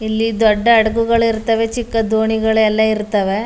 ಇಲ್ಲಿ ದೊಡ್ಡ ಹಡಗುಗಳು ಇರ್ತವೆ ಚಿಕ್ಕ ದೋಣಿಗಳು ಎಲ್ಲ ಇರ್ತವೆ.